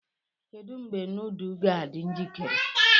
Kedu mgbe nudu ga-adị njikere?